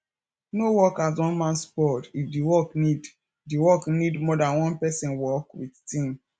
no work as one man squad if di work need di work need more than one person work with team